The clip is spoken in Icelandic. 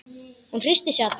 Hann hristir sig allan.